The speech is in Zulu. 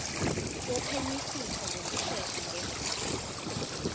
wophenyisiso ngokushesha ngendlela